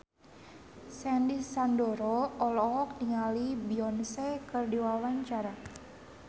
Sandy Sandoro olohok ningali Beyonce keur diwawancara